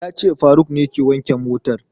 Ya ce faruk ne ke wanke motan